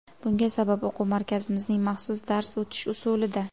Bunga sabab o‘quv markazimizning maxsus dars o‘tish usulida.